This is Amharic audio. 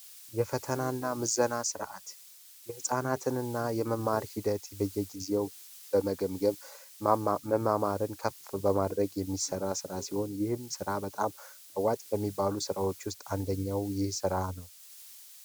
የፈተናና የምዘና ስርዓት ህፃናትንና የመማር ሂደትን በየጊዜው በመገምገም መማማርን ከፍ በማድረግ የሚሰራ ስራ ሲሆን ይህም ስራ በጣም አዋጅ ከሚባሉ ስራዎች ውስጥ አንደኛው ይህ ስራ ነው።